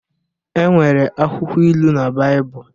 E nwere akwụkwọ ilu na Baịbụl.